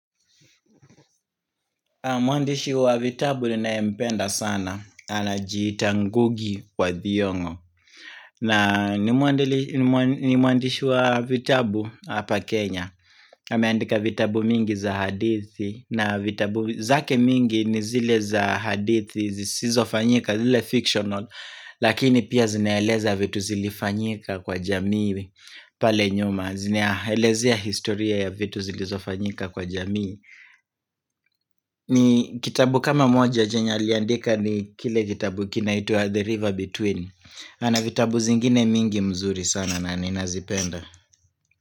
Mwandishi wa vitabu ninayempenda sana Anajiita ngugi kwa thiong'o na ni mwandishi wa vitabu hapa Kenya ameandika vitabu mingi za hadithi na vitabu zake mingi ni zile za hadithi zizofanyika, zile fictional Lakini pia zinaeleza vitu zilifanyika kwa jamii pale nyuma, zinaelezea historia ya vitu zilizofanyika kwa jamii ni kitabu kama moja chenye aliandika ni kile kitabu kinaitwa The River Between Anavitabu zingine mingi mzuri sana na nina zipenda.